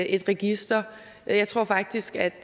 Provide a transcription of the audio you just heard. et register jeg tror faktisk at